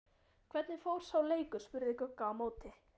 Hvernig fór sá leikur? spurði Gugga á móti.